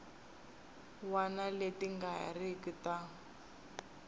wana leti nga riki ta